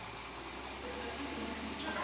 Hún gat ekki hugsað sér að missa rúmið.